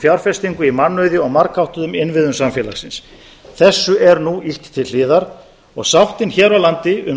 fjárfestingu í mannauði og margháttuðum innviðum samfélagsins þessu er nú ýtt til hliðar sáttin hér á landi um